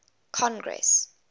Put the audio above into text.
congress